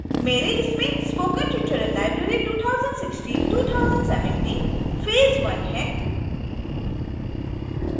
मेरे इसमेंspoken tutorial library 20162017 phase i है